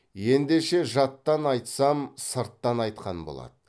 ендеше жаттан айтсам сырттан айтқан болады